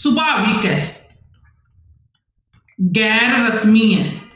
ਸੁਭਾਵਿਕ ਹੈ ਗੈਰ ਰਸਮੀ ਹੈ।